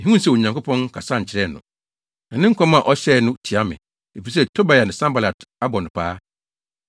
Mihuu sɛ Onyankopɔn nkasa nkyerɛɛ no, na ne nkɔm a ɔhyɛe no tia me, efisɛ Tobia ne Sanbalat abɔ no paa.